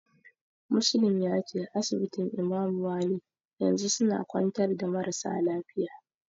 Muslim yace asibitin Imamu wali yanzu suna kwantar da marasa lafiya.